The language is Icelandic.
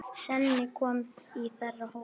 Svenni kominn í þeirra hóp.